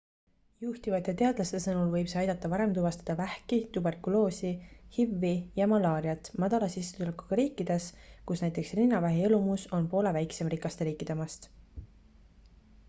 juhtivate teadlaste sõnul võib see aidata varem tuvastada vähki tuberkuloosi hiv-i ja malaariat madala sissetulekuga riikides kus näiteks rinnavähi elumus on poole väiksem rikaste riikide omast